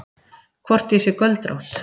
Hvort ég sé göldrótt.